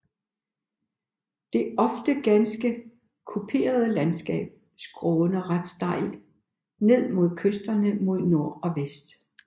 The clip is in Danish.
Det ofte ganske kuperede landskab skråner ret stejlt ned mod kysterne mod nord og vest